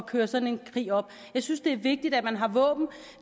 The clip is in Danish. køre sådan en krig op jeg synes det er vigtigt at man har våben